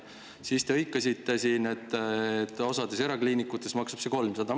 Selle peale te hõikasite siin, et osas erakliinikutes maksab see 300.